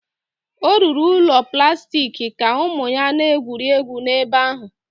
Ọ rụrụ ụlọ plastik ka ụmụ ya na-egwuri egwu n'ebe ahụ